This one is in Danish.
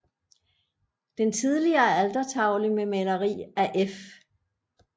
Den tidligere altertavle med maleri af F